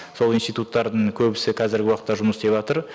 сол институттардың көбісі қазіргі уақытта жұмыс істеватыр